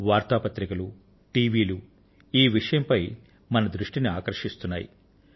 వార్తాపత్రికలు టీవీ ఈ విషయంపై మన దృష్టిని ఆకర్షిస్తున్నాయి